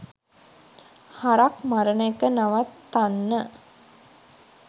හරක් මරණ එක නවත්තන්න